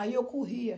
Aí eu corria.